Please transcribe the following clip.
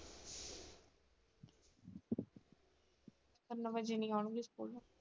ਤਿੰਨ ਵਜੇ ਨੀ ਆਉਣਗੇ school ਲੋ।